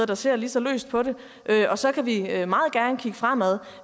der ser lige så løst på det og så kan vi meget gerne kigge fremad